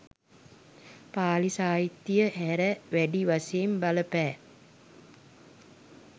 පාලි සාහිත්‍යය හැර, වැඩි වශයෙන් බලපෑ